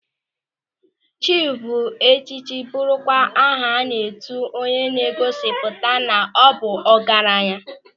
Chiif bụ echichi bụrụkwa aha a na-etu onye na-egosipụta na ọ bụ ọgaranya.